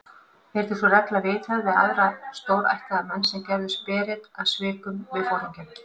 Yrði sú regla viðhöfð við aðra stórættaða menn, sem gerðust berir að svikum við foringjann.